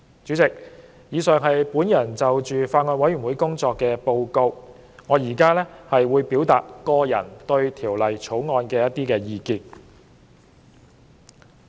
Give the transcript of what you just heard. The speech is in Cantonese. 主席，以上是我就法案委員會工作的報告，我接着會就《條例草案》表達個人意見。